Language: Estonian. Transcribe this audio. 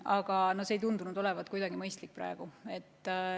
Aga see ei tundunud kuidagi mõistlik olevat.